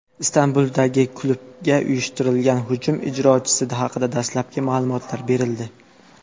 Istanbuldagi klubga uyushtirilgan hujum ijrochisi haqida dastlabki ma’lumotlar berildi.